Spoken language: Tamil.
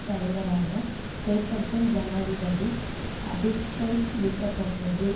தலைவரான பேட்டர்சன் ஜனாதிபதி அதிஸ்டைட் நீக்கப்பட்டது